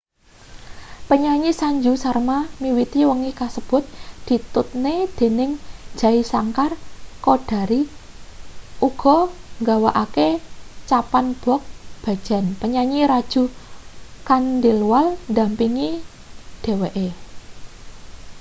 penyanyi sanju sharma miwiti wengi kasebut ditutne dening jai shankar choudhary uga nggawakake chhappan bhog bhajan penyanyi raju khandelwal ndampingi dheweke